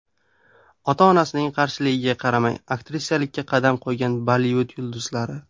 Ota-onasining qarshiligiga qaramay aktrisalikka qadam qo‘ygan Bollivud yulduzlari .